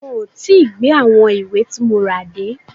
Wọn ò tí gbé àwọn ìwé tí mo rà dé.